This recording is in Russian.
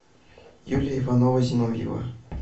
юлия иванова зиновьева